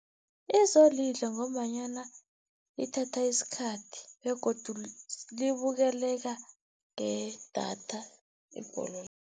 Izolidla ngombanyana ithatha isikhathi begodu libukeleka ngedatha ibholo.